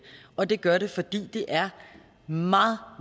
og det gør det fordi det er meget